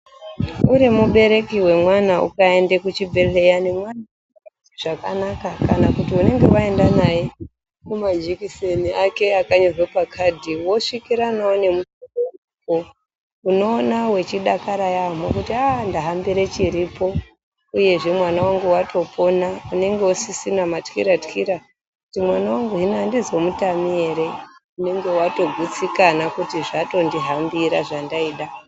Uri mubereki wemwana ukaende kuzvibhedhlera nemwana asingazwi zvakanaka kana kuti unenge waenda naye ku majekiseni ake akanyorerwa pakadhi wosvikirana nawo nemutombo unodakara yambo kuti haa ndahambira chiripo mwana wangu aropona unenge usisina matyira tyira kuti mwana wangu handizo mutami here unonga watogutsikana kuti zvato ndihambira zvandaida.